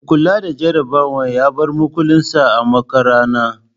Mai kula da jarabawar ya bar makulin sa a makarana